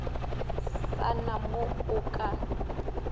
sa na mo a ka